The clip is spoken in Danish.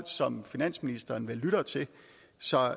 som finansministeren vel lytter til så